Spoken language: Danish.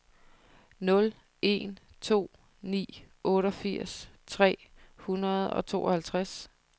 nul en to ni otteogfirs tre hundrede og tooghalvtreds